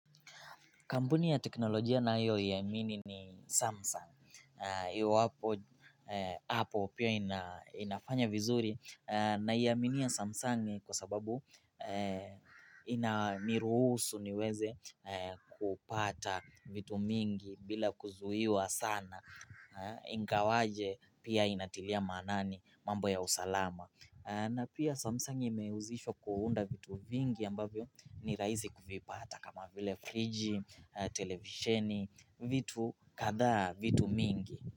Kampuni ya teknolojia na ninayoiamini ni Samsung. Iwapo apple pia inafanya vizuri naiaminia Samsung kwa sababu inaniruhusu niweze kupata vitu mingi bila kuzuiwa sana. Ingawaje pia inatilia maanani mambo ya usalama. Na pia samsung imehusishwa kuunda vitu vingi ambavyo ni rahisi kuvipata kama vile friji, televisheni, vitu kadhaa, vitu mingi.